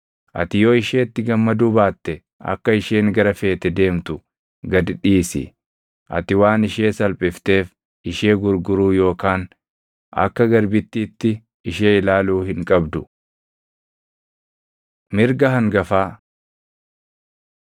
Ati yoo isheetti gammaduu baatte akka isheen gara feete deemtu gad dhiisi. Ati waan ishee salphifteef ishee gurguruu yookaan akka garbittiitti ishee ilaaluu hin qabdu. Mirga Hangafaa